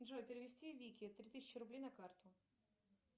джой перевести вике три тысячи рублей на карту